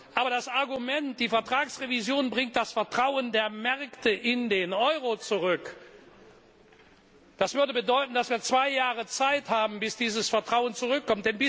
Aber das Argument, die Vertragsrevision bringt das Vertrauen der Märkte in den Euro zurück, das würde bedeuten, dass wir zwei Jahre Zeit brauchen, um dieses Vertrauen zurückzugewinnen.